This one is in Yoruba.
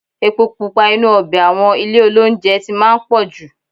Epo pupa inú ọbẹ̀ àwọn ilé-olóunjẹ ti máa ń pọ̀ jù.